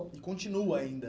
E continua ainda